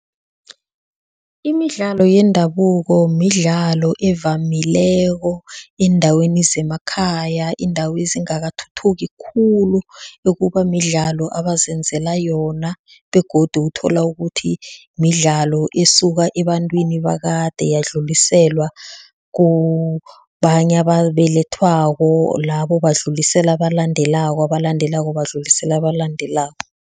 Imidlalo yendabuko midlalo evamileko eendaweni zemakhaya, iindawo ezingakathuthuki khulu ekuba midlalo abazenzela yona begodu uthola ukuthi midlalo esuka ebantwini bakade yadluliselwa kubanye ababelethwako, labo badlulisile abalandelako, abalandelako badlulisile abalandelako.